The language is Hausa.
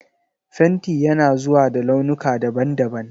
Fenti yana zuwa da launuka daban-daban.